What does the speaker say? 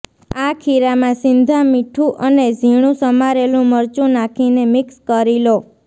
આ ખીરામાં સિંધા મીઠુ અને ઝીણુ સમારેલુ મરચુ નાખીને મિક્સ કરી લો